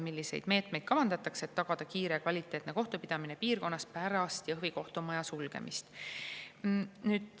Milliseid meetmeid kavandatakse, et tagada kiire ja kvaliteetne kohtupidamine piirkonnas pärast Jõhvi kohtumaja sulgemist?